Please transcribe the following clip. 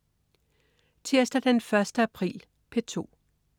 Tirsdag den 1. april - P2: